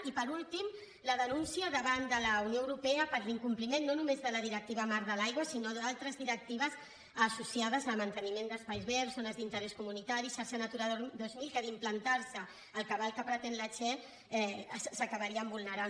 i per últim la denúncia davant de la unió europea per l’incompliment no només de la directiva marc de l’aigua sinó d’altres directives associades a manteniment d’espais verds zones d’interès comunitari xarxa natura dos mil que si s’implanta el cabal que pretén la che s’acabarien vulnerant